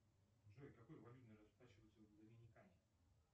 джой какой валютой расплачиваются в доминикане